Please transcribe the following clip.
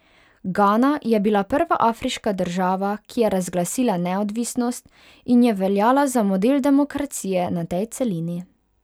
Gana je bila prva afriška država, ki je razglasila neodvisnost, in je veljala za model demokracije na tej celini.